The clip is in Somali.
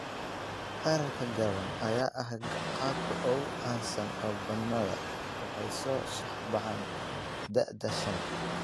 Dhererka gaaban ayaa ah qaabka ugu caansan oo badanaa waxay soo shaac baxaan da'da shan.